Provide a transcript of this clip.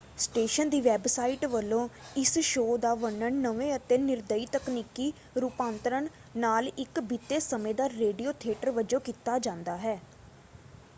Station ਦੀ website ਵੱਲੋਂ ਇਸ ਸ਼ੋਅ ਦਾ ਵਰਣਨ ਨਵੇਂ ਅਤੇ ਨਿਰਦਈ ਤਕਨੀਕੀ ਰੂਪਾਂਤਰਨ ਨਾਲ ਇੱਕ ਬੀਤੇ ਸਮੇਂ ਦਾ ਰੇਡੀਓ ਥੀਏਟਰ” ਵਜੋਂ ਕੀਤਾ ਜਾਂਦਾ ਹੈ।